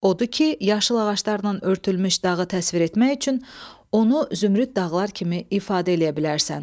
Odur ki, yaşıl ağaclarla örtülmüş dağı təsvir etmək üçün onu zümrüd dağlar kimi ifadə eləyə bilərsən.